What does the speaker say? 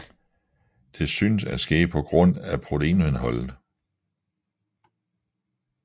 Det synes at ske på grund af proteinindholdet